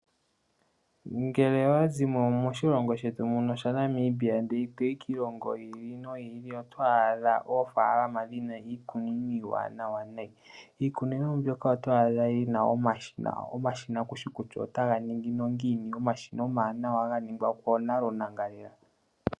Ngele owa zimo moshilongo shetu muno shaNamibia toyi kiilongo yimwe otwaadhako oofalama dhi na iikunino iiwanawa nayi. Iikunino mbyoka otwaadha yi na omashina kuushi kutya otaga ningi nongiini omashina omawanawa ga ningwa koonangalela.